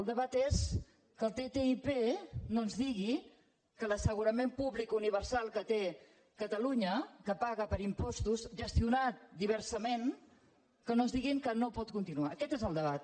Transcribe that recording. el debat és que el ttip no ens digui que l’assegurament públic universal que té catalunya que paga per impostos gestionat diversament que no ens diguin que no pot continuar aquest és el debat